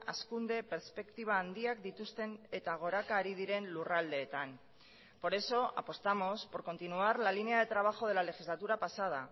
hazkunde perspektiba handiak dituzten eta goraka ari diren lurraldeetan por eso apostamos por continuar la línea de trabajo de la legislatura pasada